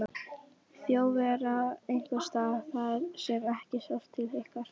Þjóðverja einhvers staðar þar sem ekki sást til ykkar?